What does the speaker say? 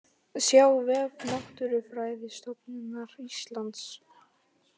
Sjá vef Náttúrufræðistofnunar Íslands